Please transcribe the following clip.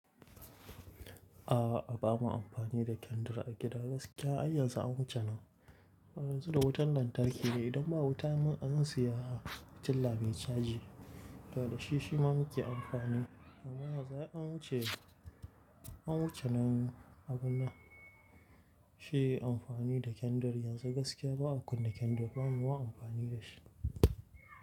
A'a a ba mu amfani da kendir a gida gaskiya ai yanzu an wuce nan. Yanzu da wutan lantarki ne idan ba wutan zan siya fitilla mai caji. Toh da shi shi ma muke amfani. Amma yanzu ai an wuce, an wuce nan abu na shi amfani da kendir yanzu gaskiya ba a kunna kendir bamu ma amfani da shi.